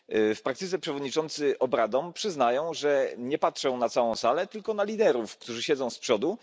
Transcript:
W praktyce przewodniczący obradom przyznają, że nie patrzą na całą salę, tylko na liderów, którzy siedzą z przodu.